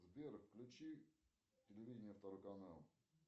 сбер включи телевидение второй канал